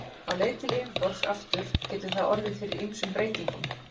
Á leið til yfirborðs aftur getur það orðið fyrir ýmsum breytingum.